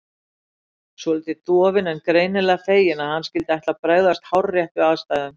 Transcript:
Urður, svolítið dofin en greinilega fegin að hann skyldi ætla að bregðast hárrétt við aðstæðum.